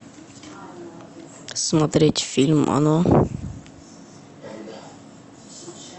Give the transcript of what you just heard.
смотреть фильм оно